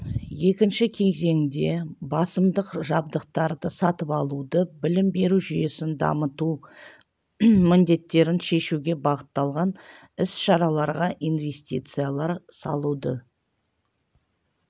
екінші кезеңде басымдық жабдықтарды сатып алуды білім беру жүйесін дамыту міндеттерін шешуге бағытталған іс-шараларға инвестициялар салуды